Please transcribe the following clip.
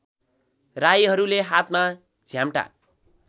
राईहरूले हातमा झ्याम्टा